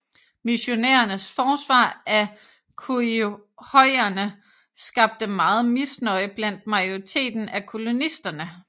Missionærernes forsvar af khoikhoierne skabte meget misnøje blandt majoriteten af kolonisterne